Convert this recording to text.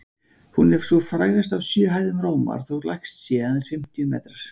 Hún er sú frægasta af sjö hæðum Rómar, þótt lægst sé, aðeins fimmtíu metrar.